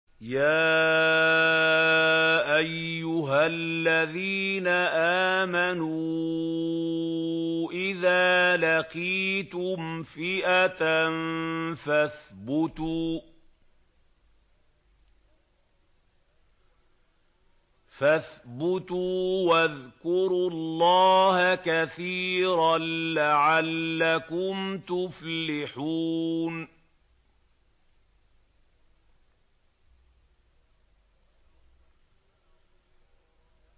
يَا أَيُّهَا الَّذِينَ آمَنُوا إِذَا لَقِيتُمْ فِئَةً فَاثْبُتُوا وَاذْكُرُوا اللَّهَ كَثِيرًا لَّعَلَّكُمْ تُفْلِحُونَ